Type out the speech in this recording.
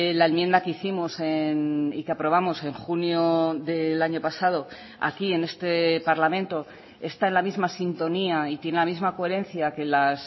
la enmienda que hicimos y que aprobamos en junio del año pasado aquí en este parlamento está en la misma sintonía y tiene la misma coherencia que las